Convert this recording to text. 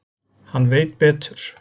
Hann veit betur.